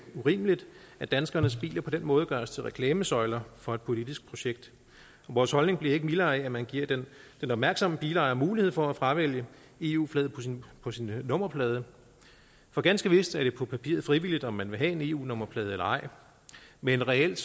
urimeligt at danskernes biler på den måde gøres til reklamesøjler for et politisk projekt og vores holdning bliver ikke mildere af at man giver den opmærksomme bilejer mulighed for at fravælge eu flaget på sin på sin nummerplade for ganske vist er det på papiret frivilligt om man vil have en eu nummerplade eller ej men reelt